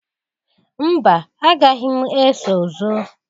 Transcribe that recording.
Mba! Agaghị m eso zọọ.